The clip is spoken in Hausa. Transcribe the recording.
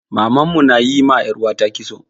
Maman mu na yi ma 'yar uwata kitso.